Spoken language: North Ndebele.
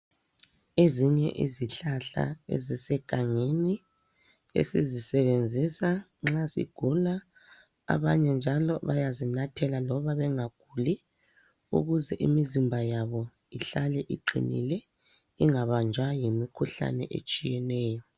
Ezinye izihlahla ezisegangeni esizisebenzisa nxa sigula, abanye njalo bayazinathela loba bengaguli ukuze imizimba yabo ihlale iqinile ingabanjwa yimikhuhlane etshiyeneyo.